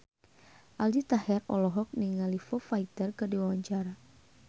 Aldi Taher olohok ningali Foo Fighter keur diwawancara